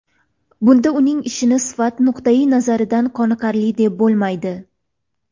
Bunda uning ishini sifat nuqtayi nazaridan qoniqarli deb bo‘lmaydi.